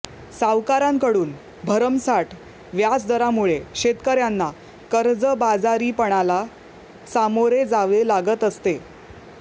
सावकरांकडून भरमसाठ व्याजदरामुळे शेतकऱ्यांना कर्जबाजारीपणाला सामोरे जावे लागत असते